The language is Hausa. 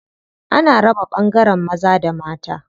Ana raba ɓangaren maza da mata.